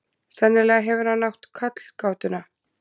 Sennilega hefur hann átt kollgátuna.